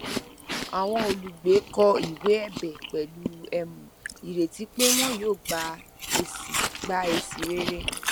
àwọn olùgbé kọ ìwé ẹbẹ pẹlú um ireti pé wọn yóò gba èsì gba èsì rere